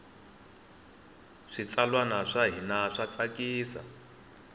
switsalwana swa hina swa tsakisa